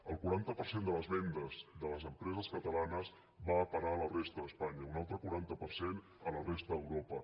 el quaranta per cent de les vendes de les empreses catalanes va a parar a la resta d’espanya un altre quaranta per cent a la resta d’europa